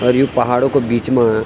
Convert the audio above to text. अर यू पहाड़ो का बीच मा।